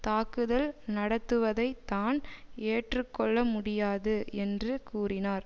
தாக்குதல் நடத்துவதை தான் ஏற்றுக்கொள்ள முடியாது என்று கூறினார்